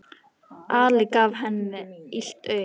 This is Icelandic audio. Alli gaf henni illt auga.